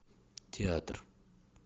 театр